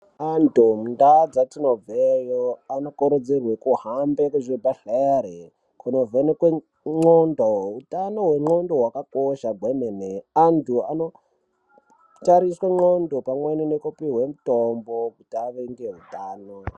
Antu mundau dzetinobveyo anokurudzirwa kuhambe kuzvibhedhlera kunovhenekwe ndxondo. Utano hwendxondo hwakakosha gwemene. Antu anotariswe ndxondo pamwe nekupiwe mitombo.